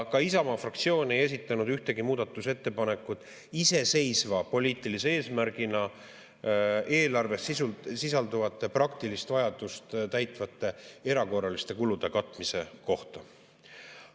Ka Isamaa fraktsioon ei esitanud ühtegi muudatusettepanekut iseseisva poliitilise eesmärgina eelarves sisalduvate praktilist vajadust täitvate erakorraliste kulude katmise kohta.